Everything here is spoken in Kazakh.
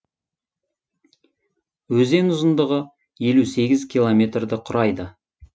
өзен ұзындығы елу сегіз километрді құрайды